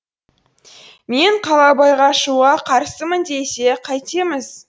мен қалабайға шығуға қарсымын десе кәйтеміз